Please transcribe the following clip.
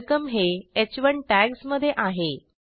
welcome हे ह1 टॅग्जमधे आहे